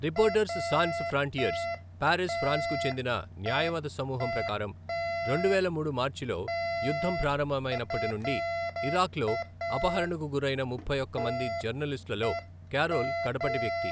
Reporters sans frontiers, Paris, ఫ్రాన్స్కు చెందిన న్యాయవాద సమూహం ప్రకారం, రెండువేల మూడు మార్చిలో యుద్ధం ప్రారంభమైనప్పటి నుండి ఇరాక్లో అపహరణకు గురైన ముప్పై ఒక్క మంది జర్నలిస్టులలో కారోల్ కడపటి వ్యక్తి.